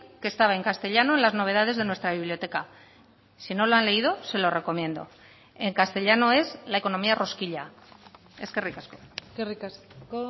que estaba en castellano en las novedades de nuestra biblioteca si no lo han leído se lo recomiendo en castellano es la economía rosquilla eskerrik asko eskerrik asko